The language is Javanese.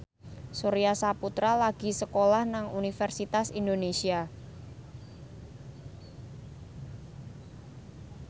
Surya Saputra lagi sekolah nang Universitas Indonesia